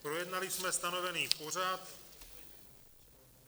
Projednali jsme stanovený pořad...